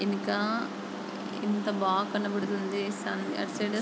వెనక ఎంత బాగా కనిపిస్తుంది సన్ రైస్.